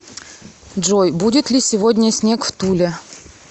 джой будет ли сегодня снег в туле